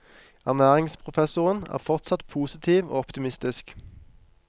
Ernæringsprofessoren er fortsatt positiv og optimistisk.